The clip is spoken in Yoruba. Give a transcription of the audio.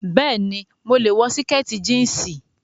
Bẹẹni, mo lè wọ síkìtì jíǹsì